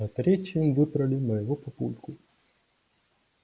а третьим выбрали моего папульку